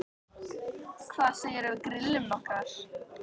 Hvað segirðu um að við grillum nokkrar?